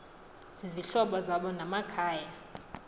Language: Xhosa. zizihlobo zabo namakhaya